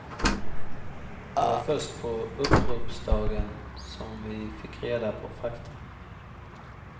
Det var först på uppropsdagen som vi fick reda på fakta.